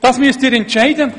Das müssen Sie entscheiden.